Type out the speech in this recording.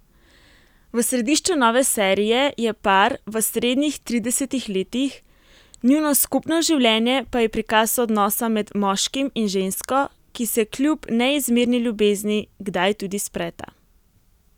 V središču nove serije je par v srednjih tridesetih letih, njuno skupno življenje pa je prikaz odnosa med moškim in žensko, ki se kljub neizmerni ljubezni kdaj tudi spreta.